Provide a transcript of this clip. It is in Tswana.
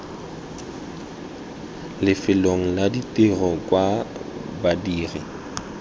lefelong la tiro kwa badiri